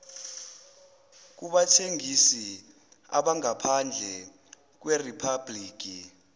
kubathengisi abangaphandle kweriphabhliki